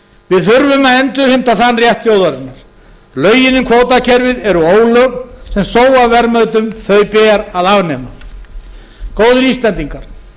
við þurfum að endurheimta þann rétt þjóðarinnar lögin um kvótakerfið eru ólög sem sóa verðmætum þau ber að afnema góðir íslendingar